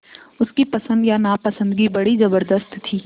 उसकी पसंद या नापसंदगी बड़ी ज़बरदस्त थी